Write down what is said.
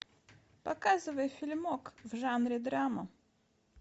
показывай фильмок в жанре драма